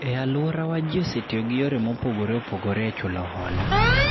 E aluorawa ji osetiyo gi yore mopogore opogore e chulohola